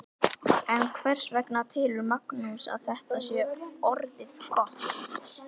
En hvers vegna telur Magnús að þetta sé orðið gott?